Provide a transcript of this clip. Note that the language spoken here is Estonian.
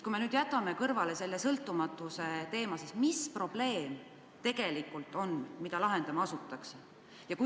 Kui me aga jätame kõrvale selle sõltumatuse teema, siis mis probleem see tegelikult on, mida lahendama asutakse?